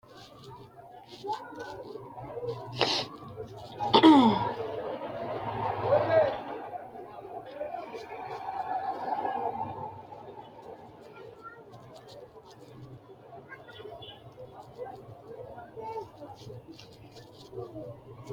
tini maa xawissanno misileeti ? mulese noori maati ? hiissinannite ise ? tini kultannori maati? dikkotte gudummaallira hanni mayiinna mayi noo?